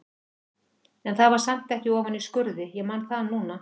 En það var samt ekki ofan í skurði, ég man það núna.